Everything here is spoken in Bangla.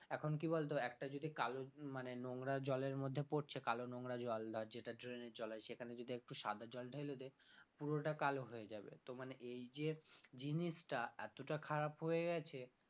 এখন কি বলতো একটা যদি কালো মানে নোংরা জলের মধ্যে পড়ছে কালো নোংরা জল ধর যেটা drain এর জল হয় সেখানে যদি একটু সাদা জল ঢেলে দে পুরোটা কালো হয়ে যাবে তো মানে এই যে জিনিসটা এতটা খারাপ হয়ে গেছে